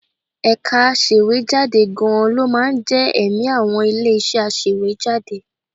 Ẹ̀ka aṣèwéjádé gan-an ló máa ń jẹ́ ẹ̀mí àwọn ilé-iṣẹ́ aṣèwéjádé